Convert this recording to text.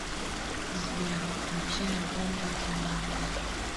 сбер включи альбом патимаркер